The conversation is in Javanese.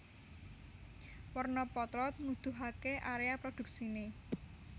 Werna potlot nguduhake area produksine